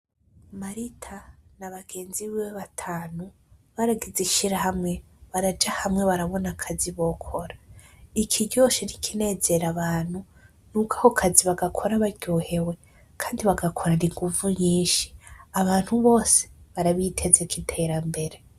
Marita na bagenzi biwe batanu baragize ishirahamwe baraja hamwe barabona akazi bokora. Ikiryoshe n'ikinezera abantu ni uko akazi bagakora baryohewe, kandi bagakorana inguvu nyinshi. Abantu bose barabitezeko iterambere.